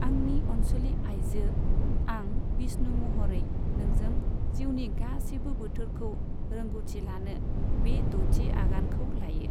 आंनि अनसुलि आइजो, आं, विष्णु महरै नोंजों जिउनि गासैबो बोथोरखौ रोंगौथि लानो बे द'थि आगानखौ लायो।